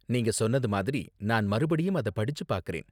நீங்க சொன்னது மாதிரி, நான் மறுபடியும் அத படிச்சு பாக்கறேன்.